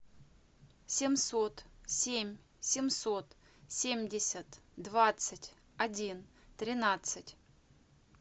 семьсот семь семьсот семьдесят двадцать один тринадцать